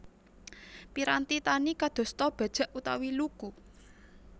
Piranti tani kadosta bajak utawi luku